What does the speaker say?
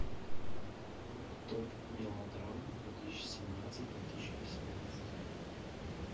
топ мелодрам две тысячи семнадцать две тысячи восемнадцать